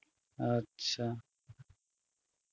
আচ্ছা